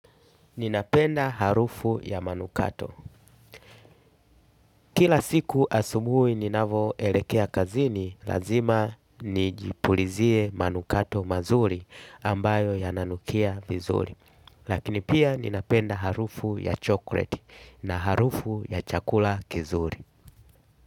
Ninapenda harufu ya manukato kila siku asubui ninavoelekea kazini lazima nijipulizie manukato mazuri ambayo yananukia vizuri. Lakini pia ninapenda harufu ya chokret na harufu ya chakula kizuri.